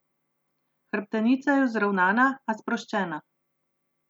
Hrbtenica je vzravnana, a sproščena.